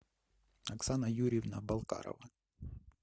оксана юрьевна балкарова